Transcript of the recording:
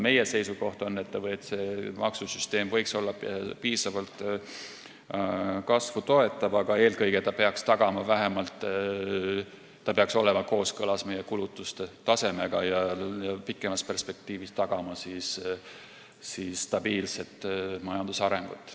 Meie seisukoht on selline, et maksusüsteem võiks olla piisavalt kasvu toetav, aga eelkõige peaks see olema vähemalt kooskõlas meie kulutuste tasemega ja pikemas perspektiivis tagama stabiilse majandusarengu.